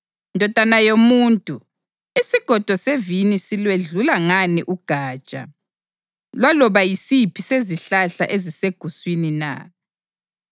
“Ndodana yomuntu, isigodo sevini silwedlula ngani ugatsha lwaloba yisiphi sezihlahla eziseguswini na?